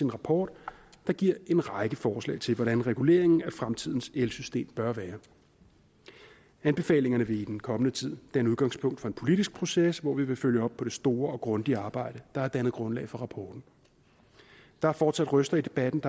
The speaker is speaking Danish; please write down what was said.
rapport der giver en række forslag til hvordan reguleringen af fremtidens elsystem bør være anbefalingerne vil i den kommende tid danne udgangspunkt for en politisk proces hvor vi vil følge op på det store og grundige arbejde der har dannet grundlag for rapporten der er fortsat røster i debatten